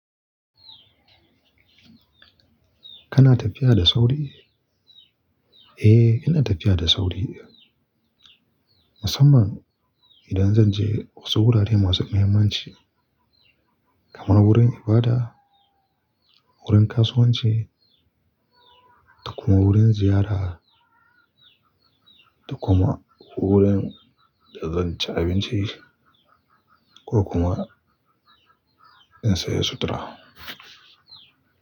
Kana tafiya da sauri? Eh, ina tafiya da sauri. Musamman idan zan je wasu wurare masu muhimmanci kamar wurin ibada, wurin kasuwanci da kuma wurin ziyara da kuma wurin da zan ci abinci ko kuma in saya sutura.